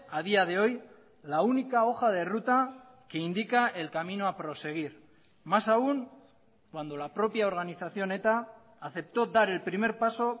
a día de hoy la única hoja de ruta que indica el camino a proseguir más aún cuando la propia organización eta aceptó dar el primer paso